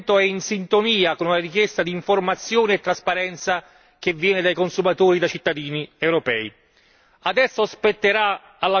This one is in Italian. Ho votato a favore perché questo provvedimento è in sintonia con una richiesta d'informazione e trasparenza che viene dai consumatori, da cittadini europei.